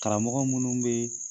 Karamɔgɔ minnu bɛ